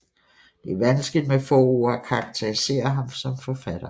Det er vanskeligt med få ord at karakterisere ham som forfatter